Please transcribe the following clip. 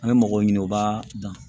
An bɛ mɔgɔw ɲini u b'a dan